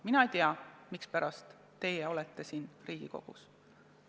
Mina ei tea, mispärast teie olete siin Riigikogus.